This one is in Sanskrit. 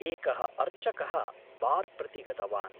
एकः अर्चकः बार् प्रति गतवान्।